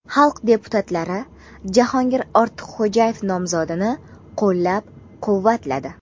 Xalq deputatlari Jahongir Ortiqxo‘jayev nomzodini qo‘llab-quvvatladi.